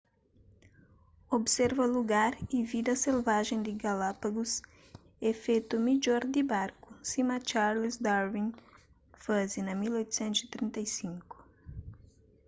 observa lugar y vida selvajen di galápagos é fetu midjor di barku sima charles darwin faze na 1835